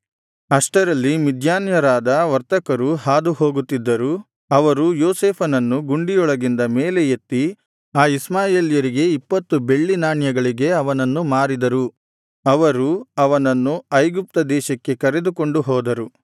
ಅಷ್ಟರಲ್ಲಿ ಮಿದ್ಯಾನ್ಯರಾದ ವರ್ತಕರು ಹಾದುಹೋಗುತ್ತಿದ್ದರು ಅವರು ಯೋಸೇಫನನ್ನು ಗುಂಡಿಯೊಳಗಿಂದ ಮೇಲೆ ಎತ್ತಿ ಆ ಇಷ್ಮಾಯೇಲ್ಯರಿಗೆ ಇಪ್ಪತ್ತು ಬೆಳ್ಳಿಯ ನಾಣ್ಯಗಳಿಗೆ ಅವನನ್ನು ಮಾರಿದರು ಅವರು ಅವನನ್ನು ಐಗುಪ್ತ ದೇಶಕ್ಕೆ ಕರೆದುಕೊಂಡು ಹೋದರು